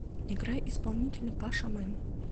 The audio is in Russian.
играй исполнителя пача мэн